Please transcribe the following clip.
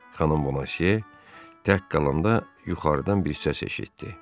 Xanım Boneziya tək qalanda yuxarıdan bir səs eşitdi.